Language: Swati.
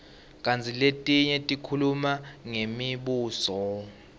kantsi letinye tikhuluma ngemibuso